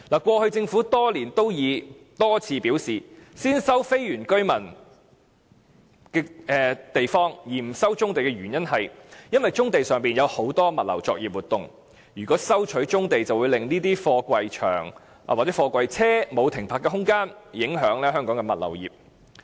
過去多年，政府多次表示先收非原居民村落土地而不收棕地，是因為棕地上有很多物流作業活動，如果收回棕地便會令貨櫃車沒有停泊的空間，影響香港物流業發展。